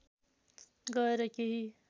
गएर केही